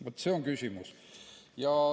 Vaat see on küsimus.